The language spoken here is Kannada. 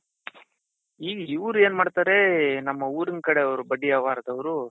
ಯುವ್ರ್ ಏನ್ ಮಾಡ್ತಾರೆ ನಮ್ಮ ಊರಿನ್ ಕಡೆಯವ್ರು ಬಡ್ಡಿ ವ್ಯವಹಾರದವರು.